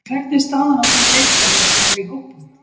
En hvernig er staðan á þeim leikmönnum sem eru í hópnum?